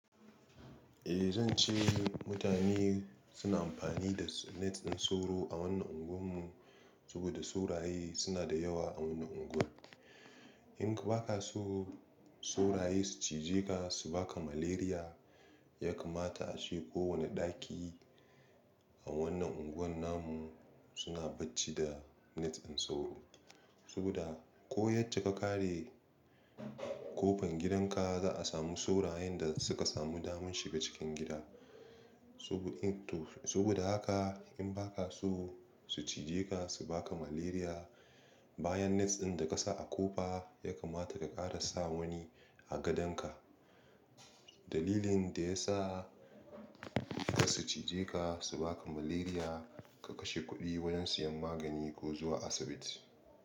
Eh zan ce mutane suna amfani da net ɗin sauro a wannan unguwar mu saboda sauraye suna da yawa a wannan unguwar. In ka ba ka so sauraye su cije ka su baka malaria, ya kamata ace ko wane ɗaki a wannan unguwar namu suna bacci da net ɗin sauro. Saboda ko yace ka kare kofan gidan ka za a samu saurayen da suka samu damar shiga cikin gida. Subu-in-to, saboda haka in ba ka so su cije ka su baka malaria, bayan net ɗin da ka sa a kofa ya kamata ka ƙara sa wani a gadonka. Dalilin da ya sa idan su cije ka su baka malaria, ka kashe kuɗi wajen siyan magani ko zuwa asibiti.